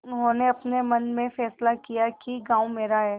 उन्होंने अपने मन में फैसला किया कि गॉँव मेरा है